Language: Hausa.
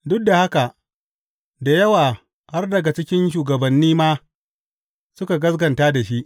Duk da haka, da yawa har daga cikin shugabanni ma suka gaskata da shi.